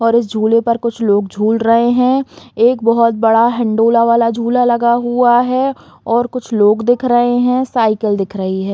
और इस झूले पर कुछ लोग झूल रहे हैं एक बहुत बड़ा हिंडोला वाला झूला लगा हुआ है और कुछ लोग दिख रहे हैं साइकिल दिख रही है।